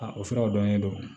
Aa o siraw dɔnnen do